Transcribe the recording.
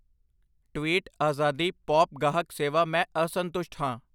tweet ਆਜ਼ਾਦੀ pop ਗਾਹਕ ਸੇਵਾ ਮੈਂ ਅਸੰਤੁਸ਼ਟ ਹਾਂ